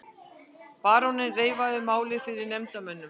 Baróninn reifaði málið fyrir nefndarmönnum.